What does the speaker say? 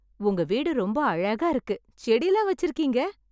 உங்க வீடு ரொம்ப அழகா இருக்கு. செடில்லாம் வச்சிருக்கீங்க.